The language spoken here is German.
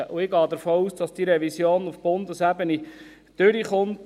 Und ich gehe davon aus, dass diese Revision auf Bundesebene durchkommt.